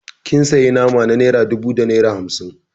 Kin sayi nama na naira dubu da naira hamsin